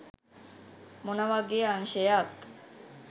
මොන වගේ අංශයක්